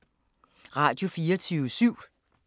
Radio24syv